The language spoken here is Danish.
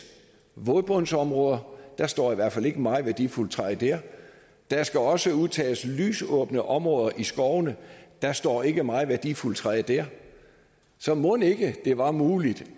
vådbundsområder der står i hvert fald ikke meget værdifuldt træ dér der skal også udtages lysåbne områder i skovene der står ikke meget værdifuldt træ dér så mon ikke det var muligt